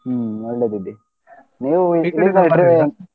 ಹ್ಮ್ ಒಳ್ಳೆದಿದೆ ನೀವೂ .